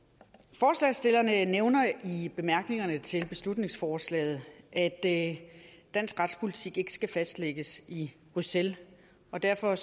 forslagsstillerne nævner i bemærkningerne til beslutningsforslaget at dansk retspolitik ikke skal fastlægges i bruxelles og derfor